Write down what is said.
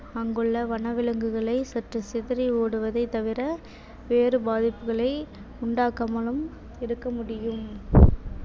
அங்குள்ள வனவிலங்குகளை சற்று சிதறி ஓடுவதைத் தவிர வேறு பாதிப்புகளை உண்டாக்காமலும் இருக்க முடியும்